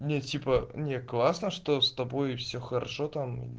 нет типа не классно что с тобой все хорошо там